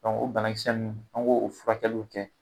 Dɔnku o banakisɛ nunnu an k'o furakɛluw kɛ